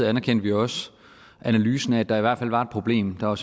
anerkendte vi også analysen af at der i hvert fald var et problem der var